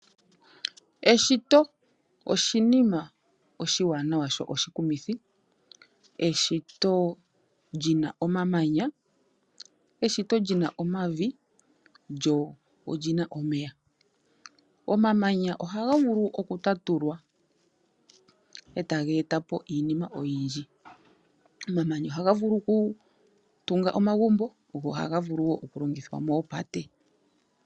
Eshito oshinima oshiwanawa sho oshikumithi eshito lyina omamanya, omavi lyo olyina omeya. Omamanya ohaga vulu oku ta tulwa eta geetapo iinima oyindji ohaga vulu oku tunga omagumbo go ohaga vulu wo oku longithwa moopate.